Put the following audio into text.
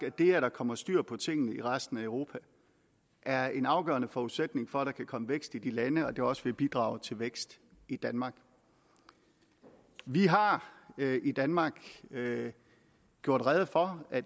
at det at der kommer styr på tingene i resten europa er en afgørende forudsætning for at der kan komme vækst i de lande og at det også vil bidrage til vækst i danmark vi har i danmark gjort rede for at